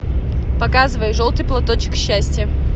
показывай желтый платочек счастья